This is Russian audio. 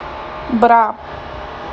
бра